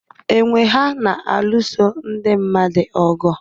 Enwe ha na-alụso ndị mmadụ ọgụ?